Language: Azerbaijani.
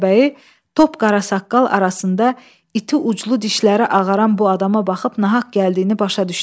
Meşəbəyi top qara saqqal arasında iti uclu dişləri ağaran bu adama baxıb nahaq gəldiyini başa düşdü.